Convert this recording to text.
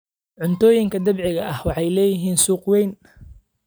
Cuntooyinka dabiiciga ahi waxay lahaayeen suuq weyn.